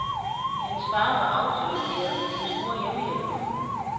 Hendes far var autolakerer, hendes mor hjemmehjælper.